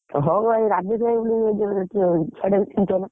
ହଉ ଭାଇ ରାଜେଶ ।